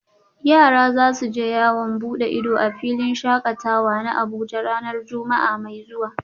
Yara za su je yawon bude ido a filin shakatawa na Abuja ranar Juma’a mai zuwa